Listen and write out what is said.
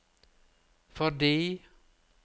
fordi